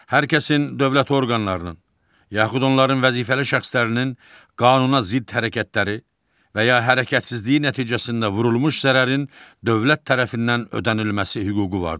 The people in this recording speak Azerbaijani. Hər kəsin dövlət orqanlarının, yaxud onların vəzifəli şəxslərinin qanuna zidd hərəkətləri və ya hərəkətsizliyi nəticəsində vurulmuş zərərin dövlət tərəfindən ödənilməsi hüququ vardır.